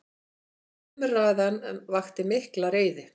Umræðan vakti mikla reiði.